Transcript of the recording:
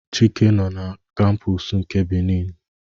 Chike nọ n'kampus nke Beni